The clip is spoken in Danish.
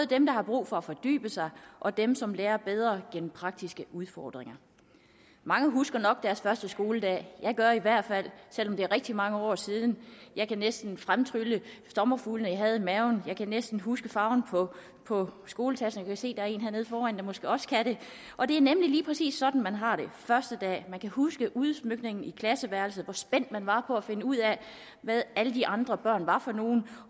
dem der har brug for at fordybe sig og dem som lærer bedre gennem praktiske udfordringer mange husker nok deres første skoledag jeg gør i hvert fald selv om det er rigtig mange år siden jeg kan næsten fremtrylle sommerfuglene jeg havde i maven jeg kan næsten huske farven på skoletasken jeg kan se der er en hernede foran der måske også kan det og det er nemlig lige præcis sådan man har det første dag man kan huske udsmykningen i klasseværelset hvor spændt man var på at finde ud af hvad alle de andre børn var for nogen